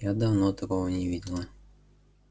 я давно такого не видела